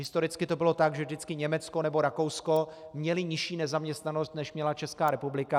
Historicky to bylo tak, že vždycky Německo nebo Rakousko měly nižší nezaměstnanost, než měla Česká republika.